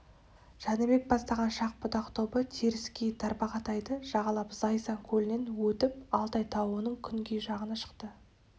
жәнібек бастаған шах-будақ тобы теріскей тарбағатайды жағалап зайсан көлінен өтіп алтай тауының күнгей жағына шықты